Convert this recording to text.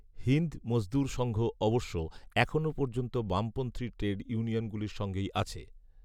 হিন্দ মজদুর সঙ্ঘ অবশ্য এখনও পর্যন্ত বামপন্থী ট্রেড ইউনিয়নগুলির সঙ্গেই আছে